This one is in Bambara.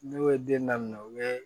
Ne ye den daminɛ u ye